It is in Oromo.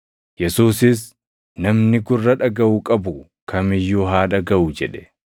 Yesuusis, “Namni gurra dhagaʼu qabu kam iyyuu haa dhagaʼu” jedhe.